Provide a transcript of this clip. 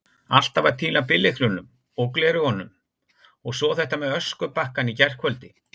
Alltaf að týna bíllyklunum, og gleraugunum, og svo þetta með öskubakkann í gærkvöldi.